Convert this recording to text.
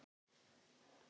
Ekki ég: annar.